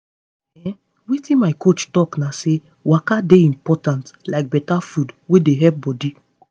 ehn wetin my coach talk na say waka dey important like better food wey dey help body.